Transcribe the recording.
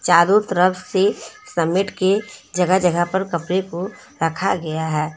चारों तरफ से समेट के जगह जगह पर कपड़े को रखा गया है।